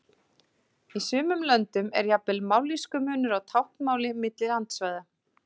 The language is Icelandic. Ástæðan er oft það nostur sem hafa þurfti við matreiðsluna til að gera hráefnið gómsætt.